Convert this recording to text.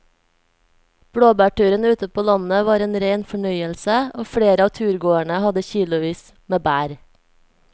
Blåbærturen ute på landet var en rein fornøyelse og flere av turgåerene hadde kilosvis med bær.